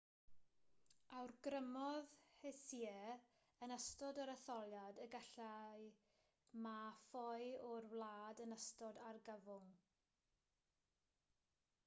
awgrymodd hsieh yn ystod yr etholiad y gallai ma ffoi o'r wlad yn ystod argyfwng